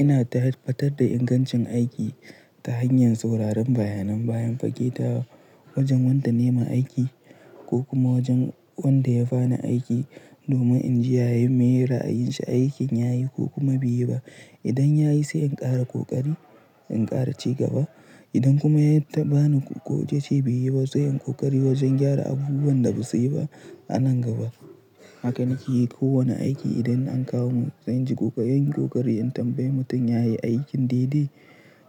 Ina ta fatar da ingancin aiki ta hanyar sauraron bayanan bayan fage ta wajen wanda nema aiki ko kuma wajen wanda ya bani aiki domin in ji ya yi miye ra'a yin shi aikin yayi ko kuma bai yi ba. Idan ya yi sai in ƙara kokari in ƙara ci gaba. Idan kuma ya yi ta bani godiya, sai in ƙoƙari wajen gyara abubuwan da ba su yi ba a nan gaba. Hakane ke yi kowane aiki idan an kawo min, zan ji kokari in tambaye mutum ya yi aikin didi,